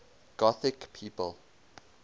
gothic people